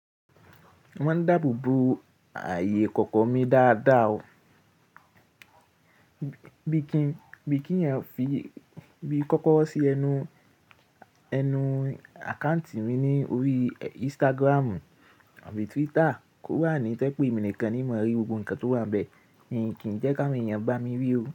Wọ́n ń dáàbò bo ààyè kọ̀ọ̀kan mi dáadáa o. Bí kí ẹ̀yin fi bí kọ́kọ́ro sí ẹnu àkáǹtì mi ní orí Instagram tàbí Twitter, kó wà ní tẹ́ pé èmi nìkan ni mo lè rí gbogbo ohun kan tó wà bẹ́ẹ̀, mí kì í jẹ́ ki awon eẹ́yan ba mi rí oo.